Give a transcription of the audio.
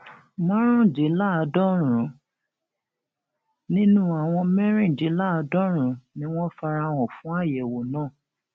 márùndínláàádọrùn nínú àwọn mẹrìndínláàádọrùn ni wọn fara hàn fún àyẹwò náà